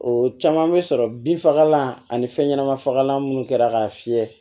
O caman bɛ sɔrɔ bin fagalan ani fɛnɲɛnɛma fagalan minnu kɛra k'a fiyɛ